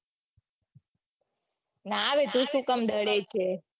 ના રે તું સુ કામ ડરે છે.